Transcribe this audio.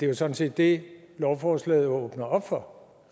jo sådan set det lovforslaget åbner op for